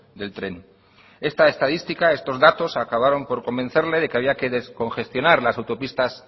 del tren esta estadística estos datos acabaron por convencerle de que había que descongestionar las autopistas